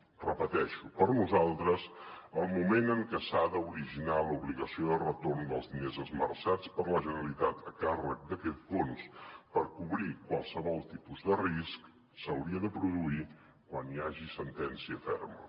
ho repeteixo per nosaltres el moment en què s’ha d’originar l’obligació de retorn dels diners esmerçats per la generalitat a càrrec d’aquest fons per cobrir qualsevol tipus de risc s’hauria de produir quan hi hagi sentència ferma